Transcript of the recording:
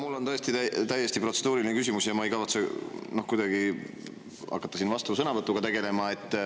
Mul on tõesti täiesti protseduuriline küsimus ja ma ei kavatse kuidagi hakata siin vastusõnavõtuga tegelema.